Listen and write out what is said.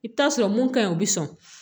I bɛ taa sɔrɔ mun ka ɲi o bi sɔn